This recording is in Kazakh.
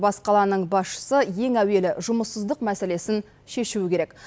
бас қаланың басшысы ең әуелі жұмыссыздық мәселесін шешуі керек